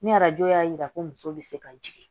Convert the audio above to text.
Ni arajo y'a yira ko muso bɛ se ka jigin